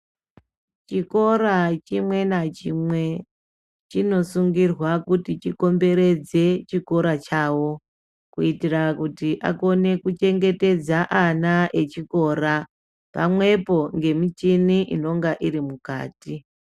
Chikora chimwe nachimwe chinosungirwa kuti chikomberedze chikora chawo, kuitira kuti akone kuchengetedza ana echikora, pamwepo ngemichini inonga iri mukati.